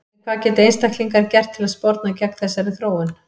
En hvað geta einstaklingar gert til að sporna gegn þessari þróun?